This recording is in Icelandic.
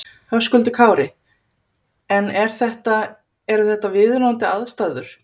Höskuldur Kári: En er þetta, eru þetta viðunandi aðstæður?